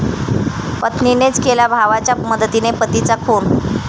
पत्नीनेच केला भावाच्या मदतीने पतीचा खून